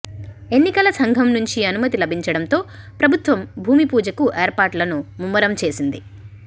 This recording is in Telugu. ఎన్నికల సంఘం నుంచి అనుమతి లభించడంతో ప్రభుత్వం భూమి పూజకు ఏర్పాట్లను ముమ్మరం చేసింది